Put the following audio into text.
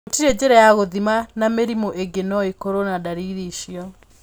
Gũtirĩ njĩra ya gũthima na mĩrimũ ĩngĩ no ĩkorwo na ndariri icio.